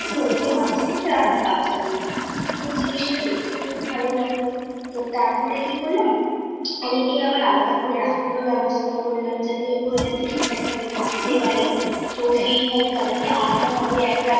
"যে মাছেরা বাচ্চা দিয়েছে তো জিনিসটা দেখতেও খুব ভাল লাগল। তো তারপরে কি করলাম ওদেরকে আবার আলাদা করে রাখার ব্যবস্থা করলাম যাতে ওরা যাতে ঠিকঠাকভাবে থাকতে পারে তো সেইভাবে তাদেরকে আলাদাভাবে একটা